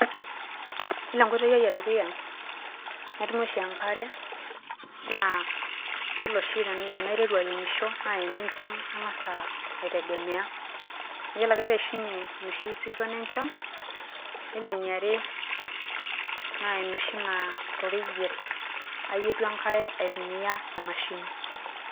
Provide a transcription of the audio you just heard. Iyiolo enkoitoi ai edukuya natumie oshi enkare naa iyolo oshi tenaiteru airemisho naa ene nchan angasa aitegemea. Iyiolo ake pee eishunye enoshi season enchan, yiolo eniare naa enoshi naa to reyiet ayietu enkare aitumia emashini.